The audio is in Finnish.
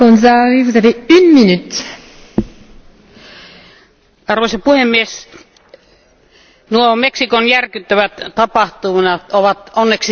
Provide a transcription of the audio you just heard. Arvoisa puhemies, nuo Meksikon järkyttävät tapahtumat ovat onneksi nyt myös Euroopan parlamentin ja koko maailman tiedossa.